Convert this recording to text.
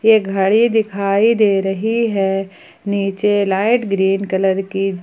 एक घड़ी दिखाई दे रही है नीचे लाइट ग्रीन कलर की--